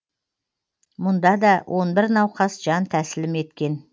мұнда да он бір науқас жан тәсілім еткен